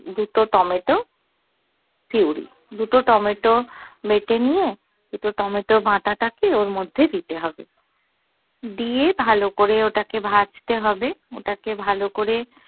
দুটো tomato puree দুটো tomato বেটে নিয়ে দুটো টমেটো বাটা টাকে ওর মধ্যে দিতে হবে দিয়ে ভালো করে ওটাকে ভাজতে হবে ওটাকে ভালো করে